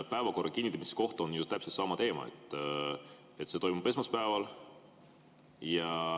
Päevakorra kinnitamisega on ju täpselt sama teema: see toimub esmaspäeval.